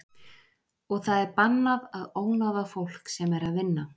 Og það er bannað að ónáða fólk sem er að vinna.